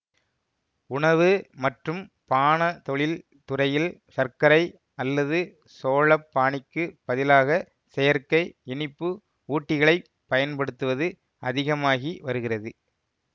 உணவு மற்றும் பானத்தொழில் துறையில் சர்க்கரை அல்லது சோழ பாணிக்குப் பதிலாக செயற்கை இனிப்பு ஊட்டிகளைப் பயன்படுத்துவது அதிகமாகி வருகிறது